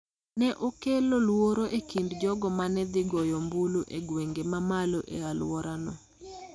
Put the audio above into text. ne okelo luoro e kind jogo ma ne dhi goyo ombulu e gwenge ma malo e alworano,